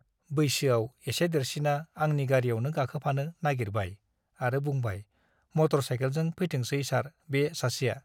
बैसोआव एसे देरसिना आंनि गारीयावनो गाखोफानो नाइगिरबाय आरो बुंबाय- मटर साइकेलजों फैथोंसै सार बे सासेआ ।